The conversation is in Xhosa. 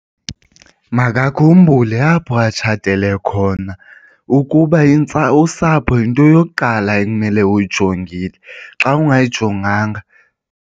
Makakhumbule apho atshatele khona ukuba usapho yinto yokuqala ekumele uyijongile. Xa ungayijonganga.